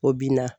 O bin na